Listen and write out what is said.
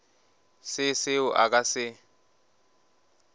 se seo a ka se